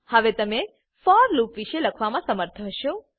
હવે તમે for loop વિષે લખવામા સમર્થ હશો